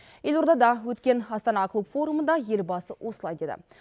елордада өткен астана клуб форумында елбасы осылай деді